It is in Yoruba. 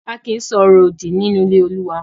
A kì í sọ ọ̀rọ̀ òdì nínú ilé Olúwa